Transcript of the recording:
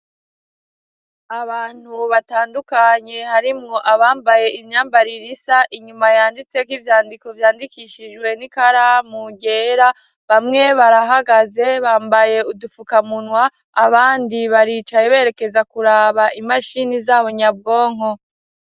Abantu batandukanye harimwo abambaye imyambarir'isa inyuma yanditse nk'ivyandiko vyandikishijwe n'ikaramu ryera bamwe barahagaze bambaye udufukamunwa ,abandi baricaye berekeza kuraba imashini zabo nyabwonko.